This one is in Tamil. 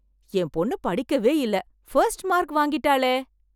என் பொண்ணு படிக்கவே இல்ல ஃபர்ஸ்ட் மார்க் வாங்கிட்டாளே!